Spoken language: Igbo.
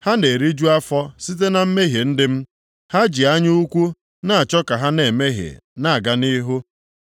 Ha na-eriju afọ site na mmehie ndị m. Ha ji anya ukwu na-achọ ka ha na-emehie na-aga nʼihu.